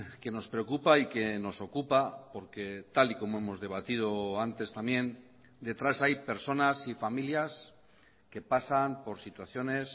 que nos preocupa y que nos ocupa porque tal y como hemos debatido antes también detrás hay personas y familias que pasan por situaciones